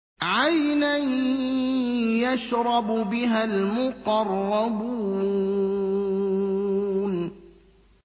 عَيْنًا يَشْرَبُ بِهَا الْمُقَرَّبُونَ